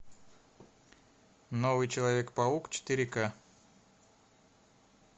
новый человек паук четыре ка